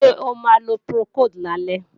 Ṣé o máa lo Procold lálẹ́?